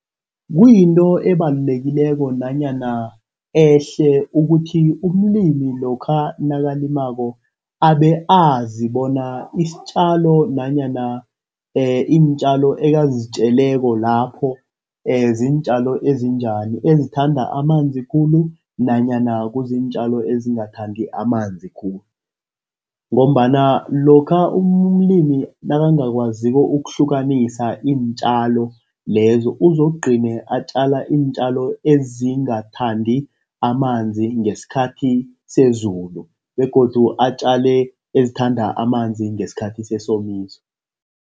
Kuyinto ebalulekileko nanyana ehle ukuthi umlimi lokha nakalimako abe azi bona isitjalo nanyana iintjalo ekazitjeleko lapho ziintjalo ezinjani, ezithanda amanzi khulu nanyana kuziintjalo ezingathandi amanzi khulu. Ngombana lokha umlimi nakangakwaziko ukuhlukanisa iintjalo lezo, uzokugcine atjala iintjalo ezingathandi amanzi ngesikhathi sezulu begodu atjale ezithanda amanzi ngesikhathi sesomiso.